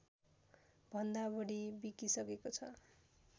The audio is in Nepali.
भन्दा बढी बिकिसकेको छ